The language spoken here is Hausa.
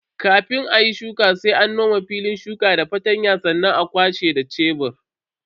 Kafin ayi shuka sai an nome filin shuka da fartanya sannan a kwashe da sheburi.